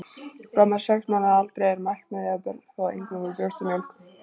Fram að sex mánaða aldri er mælt með því að börn fái eingöngu brjóstamjólk.